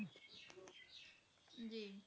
ਜੀ